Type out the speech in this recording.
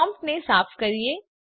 પ્રોમ્પ્ટને સાફ કરીએ